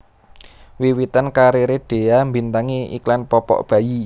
Wiwitan kariré Dhea mbintangi iklan popok bayi